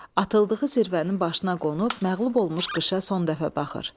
Atıldığı zirvənin başına qonub məğlub olmuş qışa son dəfə baxır.